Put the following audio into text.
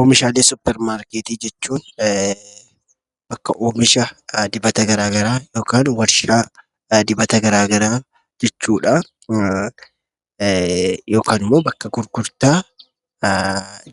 Oomishaalee suuparmarkeetii jechuun bakka oomisha dibata gara garaa yokaan warshaa dibata garaa garaa jechuudhaa yokaan immoo bakka gurgurtaa